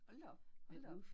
Hold da op hold da op